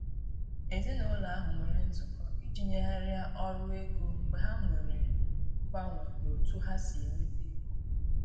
Èzìnàụlọ ahụ nwere nzụkọ iji nyèghariá ọrụ ego mgbe ha nwere mganwe n' ọ̀tu ha si enweta ègò.